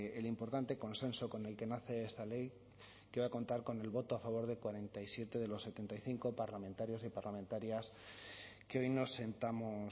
el importante consenso con el que nace esta ley que va a contar con el voto a favor de cuarenta y siete de los setenta y cinco parlamentarios y parlamentarias que hoy nos sentamos